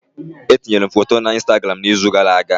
Etinyere m foto na Instagram n'izu gara aga